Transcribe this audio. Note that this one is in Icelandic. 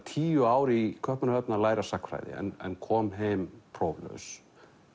tíu ár í Kaupmannahöfn að læra sagnfræði en kom heim próflaus